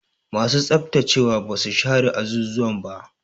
Masu tsaftacewa ba su share azuzuwan ba.